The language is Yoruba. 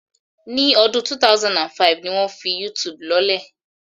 Ní ọdún 2005 ni wọ́n fi Yútùùbù lọ́lẹ̀